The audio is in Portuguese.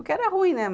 O que era ruim, né?